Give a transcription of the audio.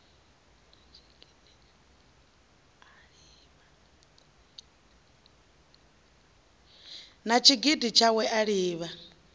na tshigidi tshawe a livha